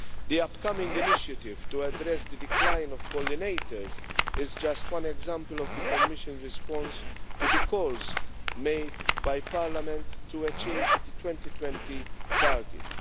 The upcoming initiative to address the decline of pollinators is just one example of the Commission's response to the calls made by Parliament to achieve the 2020 targets.